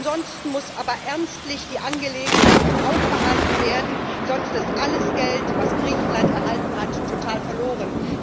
Jedenfalls muss aber ernstlich die Angelegenheit im Auge behalten werden, sonst ist alles Geld, welches Griechenland erhalten hat, total verloren.